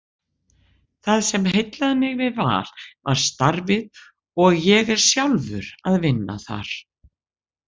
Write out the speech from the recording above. Það sem heillaði mig við Val var starfið og ég er sjálfur að vinna þar.